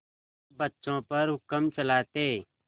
सब बच्चों पर हुक्म चलाते